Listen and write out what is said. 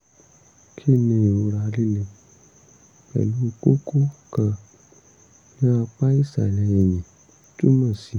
kí ni ìrora líle pẹ̀lú kókó kan ní apá ìsàlẹ̀ ẹ̀yìn túmọ̀ sí?